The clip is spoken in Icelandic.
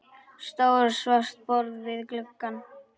Stórt svart borð við glugga.